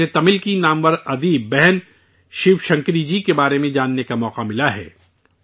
مجھے تمل کی مشہور مصنفہ بہن شیو شنکری جی کے بارے میں جاننے کا موقع ملا ہے